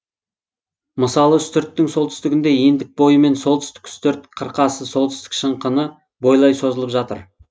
мысалы үстірттің солтүстігінде ендік бойымен солтүстік үстірт қырқасы солтүстік шыңқыны бойлай созылып жатыр